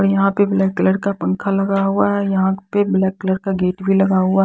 और यहां पे ब्लैक कलर का पंखा लगा हुआ है यहां पे ब्लैक कलर का गेट भी लगा हुआ--